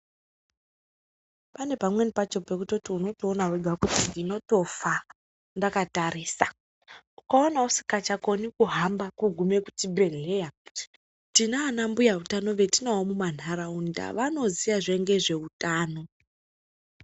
Pane pamweni pacho paunotoona wega kutoti ndinotofa ndakatarisa, ukaona usikachakoni kuhamba kugume kuchibhedhleya, tinaana mbuya utano wetinawo kuma nharaunda, wanoziwa zve ngezveutano.